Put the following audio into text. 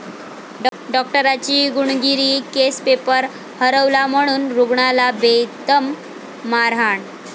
डॉक्टराची गुंडगिरी, case paper हरवला म्हणून रुग्णाला बेदम मारहाण